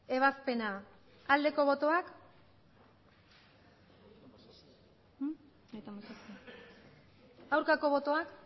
ebazpena aldeko botoak aurkako botoak